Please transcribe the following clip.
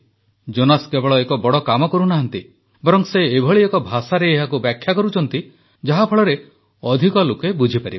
Jonas କେବଳ ଏକ ବଡ଼ କାମ କରୁନାହାନ୍ତି ବରଂ ସେ ଏଭଳି ଏକ ଭାଷାରେ ଏହାକୁ ବ୍ୟାଖ୍ୟା କରୁଛନ୍ତି ଯାହାଫଳରେ ଅଧିକ ଲୋକ ବୁଝିପାରିବେ